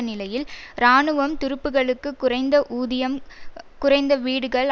நிலையில் இராணுவம் துருப்புகளுக்கு குறைந்த ஊதியம் குறைந்த வீடுகள்